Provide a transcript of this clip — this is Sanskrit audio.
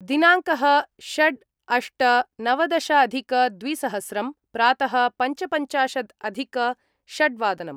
दिनांकः षट् - अष्ट - नवदशाधिक द्विसहस्रं प्रात: षट् :पञ्चपञ्चाशत्